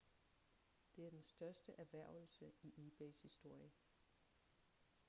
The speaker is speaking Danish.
det er den største erhvervelse i ebays historie